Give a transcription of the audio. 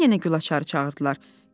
Bir azdan yenə Gülaçarı çağırdılar.